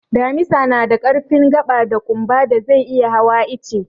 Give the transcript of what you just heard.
Damisa na da ƙarfin gaɓa da ƙumba da zai iya hawa ice.